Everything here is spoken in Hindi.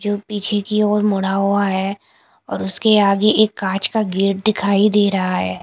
जो पीछे की ओर मुड़ा हुआ है और उसके आगे एक कांच का गेट दिखाई दे रहा हैं।